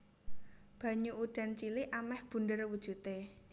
Banyu udan cilik amèh bunder wujudé